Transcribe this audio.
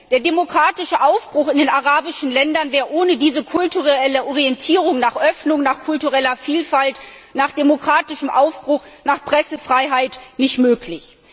Der demokratische Aufbruch in den arabischen Ländern wäre ohne diesen kulturell bedingten Wunsch nach Öffnung, nach kultureller Vielfalt, nach demokratischem Aufbruch, nach Pressefreiheit nicht möglich.